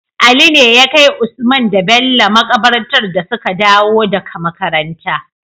Ali ne yakai usman da Bello makabarta dasuka dawo daka makaranta